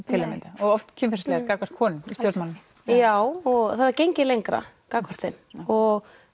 til að mynda og oft kynferðislegar gagnvart konum í stjórnmálum já og það er gengið lengra gagnvart þeim og